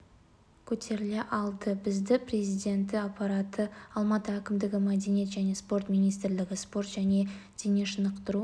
көтеріле алды бізді президенті аппараты алматы әкімдігі мәдениет және спорт министрлігі спорт және дене шынықтыру